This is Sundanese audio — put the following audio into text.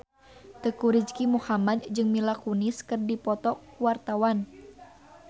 Teuku Rizky Muhammad jeung Mila Kunis keur dipoto ku wartawan